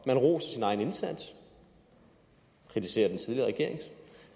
man roser sin egen indsats og kritiserer den tidligere regerings